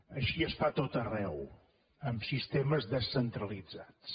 així es fa a tot arreu amb sistemes descentralitzats